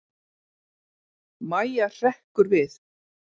Mæja hrekkur við.